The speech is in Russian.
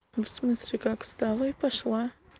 в смысле как встала и пошла